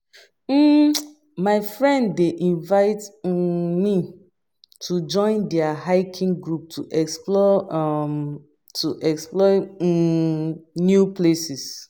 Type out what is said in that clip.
um My friend dey invite um me to join their hiking group to explore um to explore um new places.